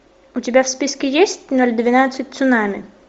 у тебя в списке есть ноль двенадцать цунами